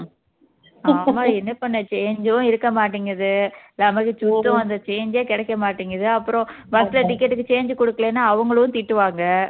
ஆமா என்ன பண்ண change உம் இருக்க மாட்டேங்குது நமக்கு சுத்தம் அந்த change ஏ கிடைக்க மாட்டேங்குது அப்பறம் bus ல ticket க்கு change கொடுக்கலன்னா அவங்களும் திட்டுவாங்க